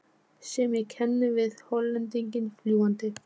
sem ég kenni við Hollendinginn fljúgandi.